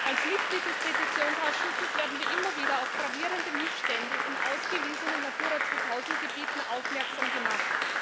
Als Mitglieder des Petitionsausschusses werden wir immer wieder auf gravierende Missstände in ausgewiesenen Natura 2000 Gebieten aufmerksam gemacht.